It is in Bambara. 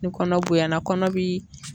Ni kɔnɔ bonya na kɔnɔ bi